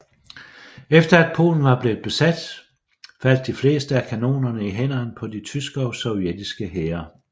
Efter at Polen var blevet besat faldt de fleste af kanonerne i hænderne på de tyske og sovjetiske hære